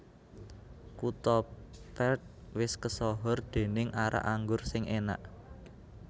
Kuto Perth wis kesohor dening arak anggur sing enak